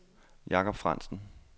Jakob Frandsen